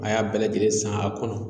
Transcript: A y'a bɛɛ lajɛlen san a kɔnɔ